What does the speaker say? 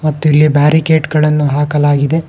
ಮತ್ತು ಇಲ್ಲಿ ಬ್ಯಾರಿಕೆಟ್ ಗಳನ್ನು ಹಾಕಲಾಗಿದೆ.